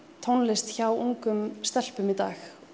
tónlist hjá ungum stelpum í dag